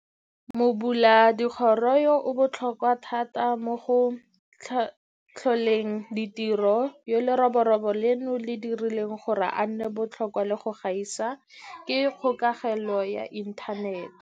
Mobuladikgoro yo o botlhokwa thata mo go tlholeng ditiro, yo leroborobo leno le dirileng gore a nne botlhokwa le go gaisa, ke kgokelelo ya inthanete.